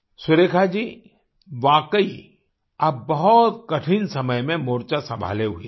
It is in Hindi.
सुरेखा जी वाकई आप बहुत कठिन समय में मोर्चा संभाले हुए हैं